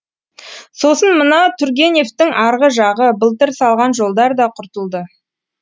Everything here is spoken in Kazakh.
сосын мына тургеневтің арғы жағы былтыр салған жолдар да құртылды